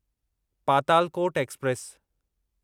Patalkot express